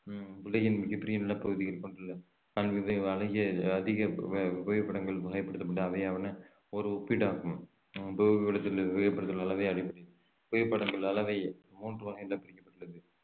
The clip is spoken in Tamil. உம் உலகின் மிகப் பெரிய நிலப்பகுதியில் அதிக அஹ் புவிப்படங்கள் வகைப்படுத்தப்பட்டு அவையான ஒரு ஒப்பீடாகும் புவிப்படங்கள் அளவை மூன்று வகைகளாக பிரிக்கப்பட்டுள்ளது